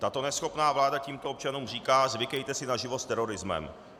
Tato neschopná vláda tímto občanům říká: Zvykejte si na život s terorismem.